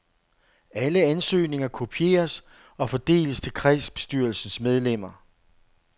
Alle ansøgninger kopieres og fordeles til kredsbestyrelsens medlemmer.